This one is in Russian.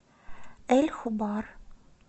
эль хубар